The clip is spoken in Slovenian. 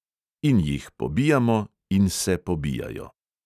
In jih pobijamo in se pobijajo.